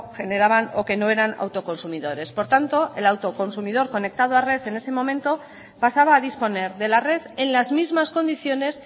generaban o que no eran autoconsumidores por tanto el autoconsumidor conectado a red en ese momento pasaba a disponer de la red en las mismas condiciones